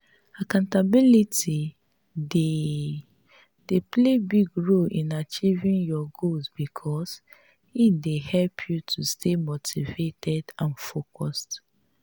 accountability dey dey play big role in achieving your goals because e dey help you to stay motivated and focused.